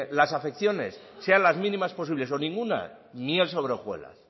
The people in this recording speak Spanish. las afecciones sean las mínimas posibles o ninguna miel sobre hojuelas